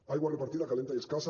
aigua repartida calenta i escassa